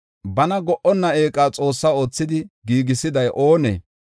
Bana go77onna eeqa Xoossa oothidi giigisiday oonee?